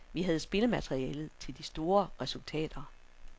Vi havde spillermaterialet til de store resultater.